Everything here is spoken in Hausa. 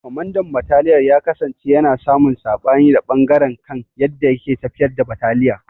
Kwamandan bataliyar ya kasance yana samun sabani da ɓangaren kan yadda yake tafiyar da bataliya.